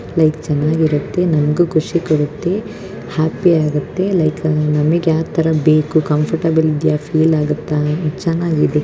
ಇಲ್ಲಿ ಚೆನ್ನಾಗಿರುತ್ತೆ ನಿಮಗೂ ಖುಷಿ ಕೊಡುತ್ತೆ ಹ್ಯಾಪಿ ಆಗಿರುತ್ತೆ ನಮಗೆ ಯಾವ ತರಹ ಬೇಕೋ ಹಾಗೆ ಕಂಫರ್ಟಬಲ್ ಫೀಲ್ ಆಗುತ್ತೆ .